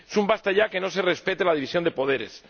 Es un ¡basta ya! de que no se respete la división de poderes.